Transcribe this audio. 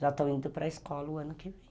Já estão indo para a escola o ano que vem.